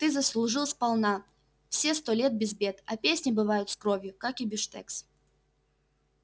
ты заслужил сполна все сто лет без бед а песни бывают с кровью как и бифштекс